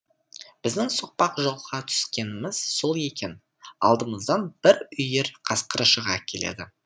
біздің соқпақ жолға түскеніміз сол екен алдымыздан бір үйір қасқыр шыға келеді